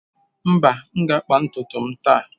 Mba, m ga-akpa ntutu m taa.